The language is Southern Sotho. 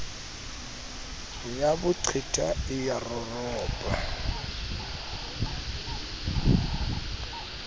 ya boqwetha e a roropa